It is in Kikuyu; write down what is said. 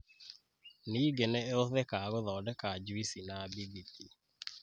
ningĩ nĩ ĩhũthĩkaga gũthondeka juici na bĩthiti.